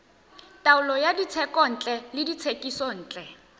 taolo ya dithekontle le dithekisontle